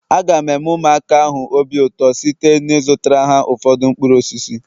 Aga m eme ụmụaka ahụ obi ụtọ site n'ịzụtara ha ụfọdụ mkpụrụ osisi